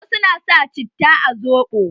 Wasu na sa cita a soɓo.